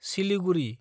Siliguri